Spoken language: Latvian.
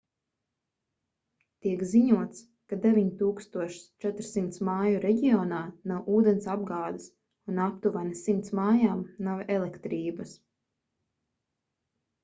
tiek ziņots ka 9400 māju reģionā nav ūdensapgādes un aptuveni 100 mājām nav elektrības